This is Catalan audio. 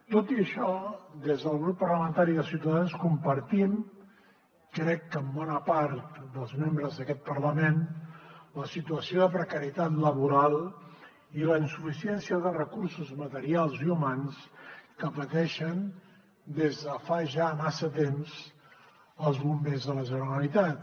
tot i això des del grup parlamentari de ciutadans compartim crec que amb bona part dels membres d’aquest parlament la situació de precarietat laboral i la insuficiència de recursos materials i humans que pateixen des de fa ja massa temps els bombers de la generalitat